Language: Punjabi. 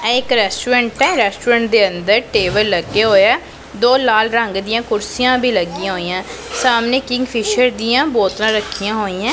ਇਹ ਇੱਕ ਰੈਸਟੂਰੈਂਟ ਹੈ ਰੈਸਟੂਰੈਂਟ ਦੇ ਅੰਦਰ ਟੇਬਲ ਲੱਗੇ ਹੋਏ ਏ ਦੋ ਲਾਲ ਰੰਗ ਦਿਆਂ ਕੁਰਸੀਆਂ ਵੀ ਲੱਗਿਆਂ ਹੋਇਯਾਂ ਸਾਹਮਨੇ ਕਿੰਗਫਿਸ਼ਰ ਦਿਆਂ ਬੋਤਲਾਂ ਰੱਖੀਆਂ ਹੋਈਂ ਹੈਂ।